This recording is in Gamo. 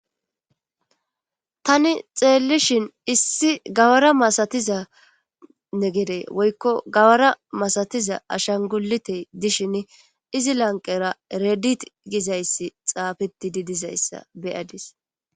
tani xeellishhin issi gawara masatizanne gere woykko gawara masatiza ashangulite dishin izi lanqera eredit gizayssi xaafiti di dizayssa beyadis